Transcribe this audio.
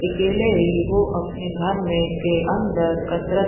अकेले ही वो अपने घर में के अंदर कसरत --